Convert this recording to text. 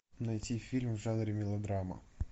найти фильм в жанре мелодрама